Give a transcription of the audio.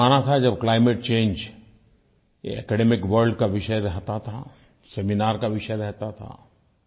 एक ज़माना था जब क्लाइमेट चंगे ये एकेडमिक वर्ल्ड का विषय रहता था सेमिनार का विषय रहता था